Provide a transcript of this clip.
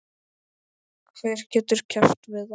Hver getur keppt við það?